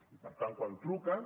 i per tant quan truquen